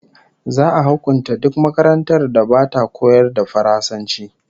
Za'a hukunta duk makarantar da bata koyar da Faransanci